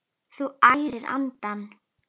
Þú ærir andana!